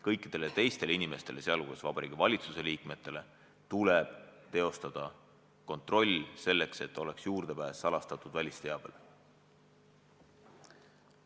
Kõikidele teistele inimestele, sh Vabariigi Valitsuse liikmetele, tuleb teostada kontroll, selleks et oleks juurdepääs salastatud välisteabele.